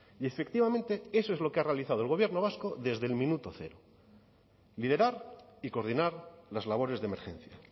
y efectivamente eso es lo que ha realizado el gobierno vasco desde el minuto cero liderar y coordinar las labores de emergencia